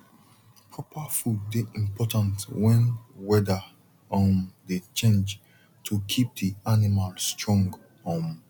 proper food dey important wen wheather um dey change to keep the animal strong um